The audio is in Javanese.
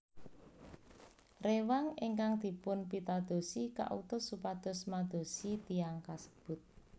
Rewang ingkang dipunpitadosi kautus supados madosi tiyang kasebut